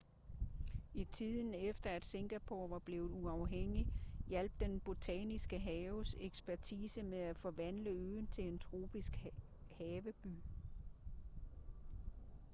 i tiden efter at singapore var blevet uafhængigt hjalp den botaniske haves ekspertise med at forvandle øen til en tropisk haveby